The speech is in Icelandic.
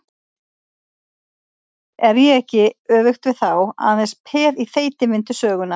Er ég ekki, öfugt við þá, aðeins peð í þeytivindu sögunnar?